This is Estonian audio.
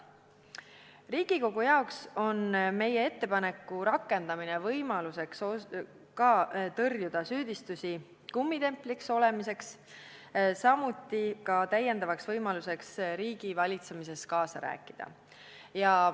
Riigikogule annab meie ettepaneku rakendamine võimaluse tõrjuda süüdistusi kummitempliks olemises, samuti riigivalitsemises kaasa rääkida.